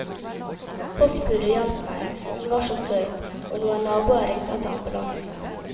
Postbudet hjalp meg, hun var så søt, og noen naboer ringte etter ambulanse.